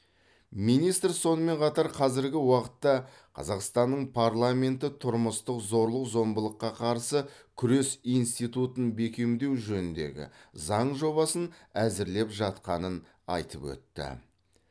министр сонымен қатар қазіргі уақытта қазақстанның парламенті тұрмыстық зорлық зомбылыққа қарсы күрес институтын бекемдеу жөніндегі заң жобасын әзірлеп жатқанын айтып өтті